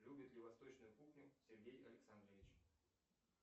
любит ли восточную кухню сергей александрович